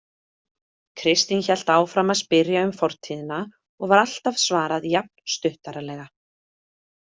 Kristín hélt áfram að spyrja um fortíðina og var alltaf svarað jafn stuttaralega.